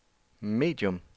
medium